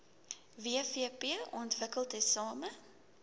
wvp ontwikkel tesame